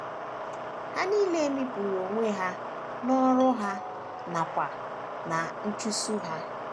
Ha nile mikpuru onwe ha n’ọrụ ha nakwa ná nchụso ha.